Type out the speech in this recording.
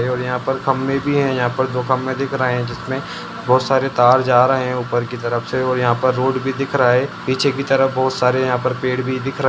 और यहाँ पर खंबे भी हैं यहाँ पर दो खंभे दिख रहें हैं जिसमें बहुत सारे तार जा रहें हैं ऊपर कि तरफ से और यहाँ पर रोड भी दिख रहा है पीछे की तरफ बहुत सारे यहाँ पर पेड़ भी दिख र --